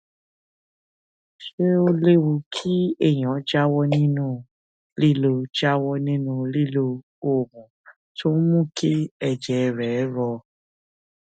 ṣé ó léwu kéèyàn jáwó nínú lílo jáwó nínú lílo oògùn tó ń mú kí èjè rè rò